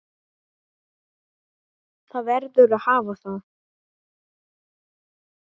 Það verður að hafa það.